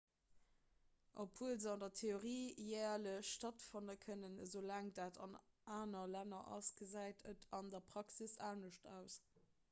obwuel se an der theorie järlech stattfanne kënnen esoulaang dat an anere länner ass gesäit et an der praxis anescht aus